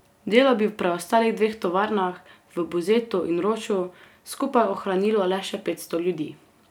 Delo bi v preostalih dveh tovarnah, v Buzetu in Roču, skupaj ohranilo le še petsto ljudi.